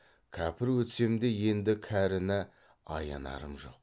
кәпір өтсем де енді кәріні аянарым жоқ